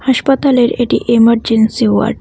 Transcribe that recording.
হাসপাতালের এটি emergency ward.